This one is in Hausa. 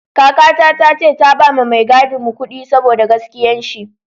Kaka ta ce ta ba ma mai gadin mu kudi saboda gaskiyan shi